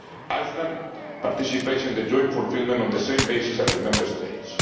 Iceland participates in the joint fulfilment on the same basis as the Member States.